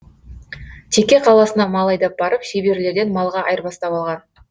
теке қаласына мал айдап барып шеберлерден малға айырбастап алған